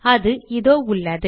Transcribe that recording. அது இதோ உள்ளது